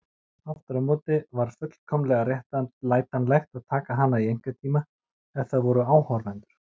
Aftur á móti var fullkomlega réttlætanlegt að taka hana í einkatíma ef það voru áhorfendur.